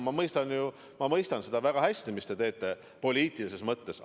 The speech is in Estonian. Ma mõistan ju, ma mõistan seda väga hästi, mida te teete – poliitilises mõttes.